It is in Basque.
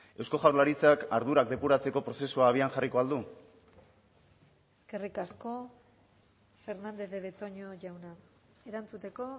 eusko jaurlaritzak ardurak depuratzeko prozesua abian jarriko al du eskerrik asko fernandez de betoño jauna erantzuteko